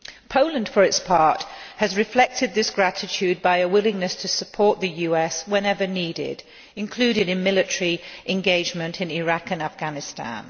Poland, for its part, has reflected this gratitude by a willingness to support the US whenever needed, including military engagement in Iraq and Afghanistan.